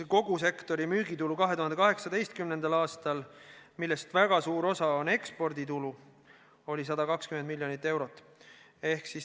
Kogu sektori müügitulu 2018. aastal, millest väga suur osa on eksporditulu, oli 120 miljonit eurot.